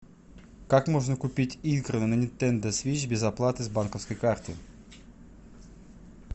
как можно купить игры на нинтендо свич без оплаты с банковской карты